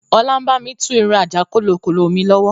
Ọlá ń bami tú irun àjàkólokólo mi lọ́wọ́